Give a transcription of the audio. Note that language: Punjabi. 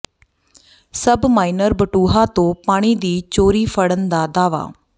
ਸਬ ਮਾਈਨਰ ਬਟੂਹਾ ਤੋਂ ਪਾਣੀ ਦੀ ਚੋਰੀ ਫੜਨ ਦਾ ਦਾਅਵਾ